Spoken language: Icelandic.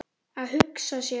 Að hugsa sér.